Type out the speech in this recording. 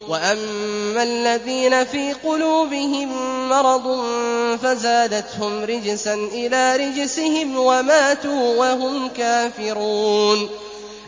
وَأَمَّا الَّذِينَ فِي قُلُوبِهِم مَّرَضٌ فَزَادَتْهُمْ رِجْسًا إِلَىٰ رِجْسِهِمْ وَمَاتُوا وَهُمْ كَافِرُونَ